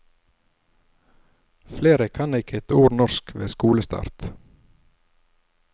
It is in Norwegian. Flere kan ikke ett ord norsk ved skolestart.